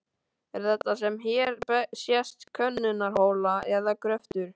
Er þetta sem hér sést könnunarhola eða gröftur?